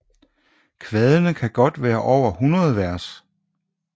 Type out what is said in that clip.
Kvadene kan godt være over hundrede vers